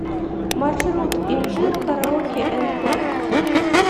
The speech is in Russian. маршрут инжир караоке энд клаб